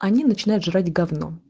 они начинают жрать г